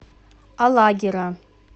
алагира